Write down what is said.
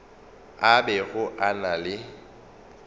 a bego a na le